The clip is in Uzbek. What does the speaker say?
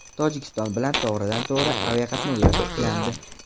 Tojikiston bilan to‘g‘ridan-to‘g‘ri aviaqatnovlar tiklandi.